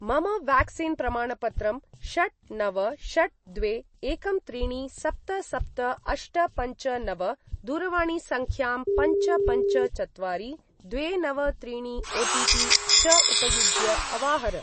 मम व्याक्सीन् प्रमाणपत्रं षट् नव षट् द्वे एकं त्रीणि सप्त सप्त अष्ट पञ्च नव दूरवाणीसङ्ख्यां, पञ्च पञ्च चत्वारि द्वे नव त्रीणि ओटिपि च उपयुज्य अवाहर।